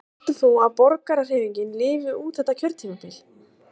Helga Arnardóttir: Heldur þú að Borgarahreyfingin lifi út þetta kjörtímabil?